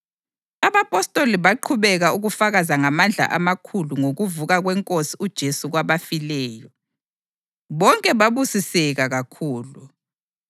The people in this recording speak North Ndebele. Abapostoli baqhubeka ukufakaza ngamandla amakhulu ngokuvuka kweNkosi uJesu kwabafileyo, bonke babusiseka kakhulu.